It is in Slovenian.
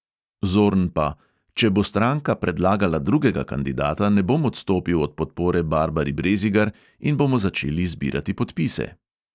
Zorn pa: "če bo stranka predlagala drugega kandidata, ne bom odstopil od podpore barbari brezigar in bomo začeli zbirati podpise."